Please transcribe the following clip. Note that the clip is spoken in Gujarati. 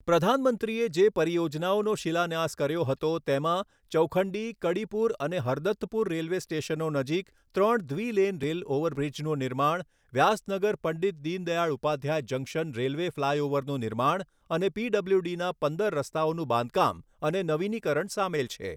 પ્રધાનમંત્રીએ જે પરિયોજનાઓનો શિલાન્યાસ કર્યો હતો, તેમાં ચૌખંડી, કડીપુર અને હરદત્તપુર રેલવે સ્ટેશનો નજીક ત્રણ દ્વિ લેન રેલ ઓવરબ્રિજનું નિર્માણ વ્યાસનગર પંડિત દીનદયાળ ઉપાધ્યાય જંકશન રેલવે ફ્લાયઓવરનું નિર્માણ અને પીડબ્લ્યુડીના પંદર રસ્તાઓનું બાંધકામ અને નવીનીકરણ સામેલ છે.